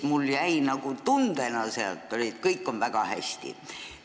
Mulle jäi nagu tunne, et kõik on väga hästi.